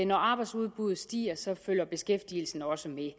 når arbejdsudbuddet stiger så følger beskæftigelsen også med at